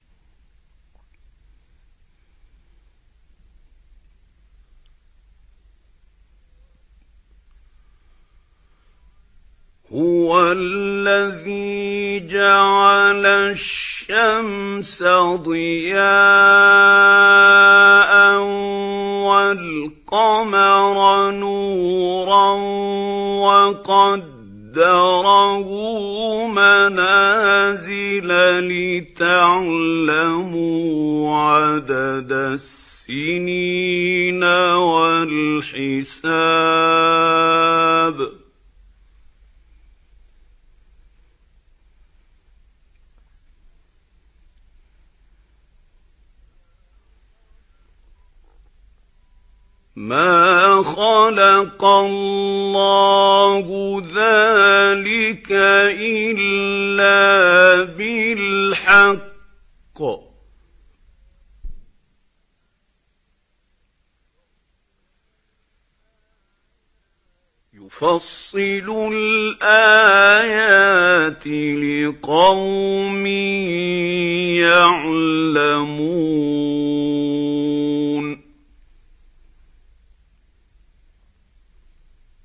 هُوَ الَّذِي جَعَلَ الشَّمْسَ ضِيَاءً وَالْقَمَرَ نُورًا وَقَدَّرَهُ مَنَازِلَ لِتَعْلَمُوا عَدَدَ السِّنِينَ وَالْحِسَابَ ۚ مَا خَلَقَ اللَّهُ ذَٰلِكَ إِلَّا بِالْحَقِّ ۚ يُفَصِّلُ الْآيَاتِ لِقَوْمٍ يَعْلَمُونَ